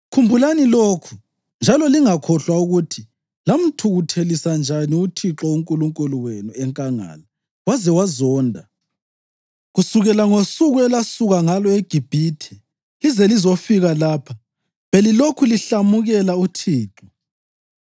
“Khumbulani lokhu njalo lingakhohlwa ukuthi lamthukuthelisa njani uThixo uNkulunkulu wenu enkangala waze wazonda. Kusukela ngosuku elasuka ngalo eGibhithe lize lizofika lapha, belilokhu lihlamukela uThixo.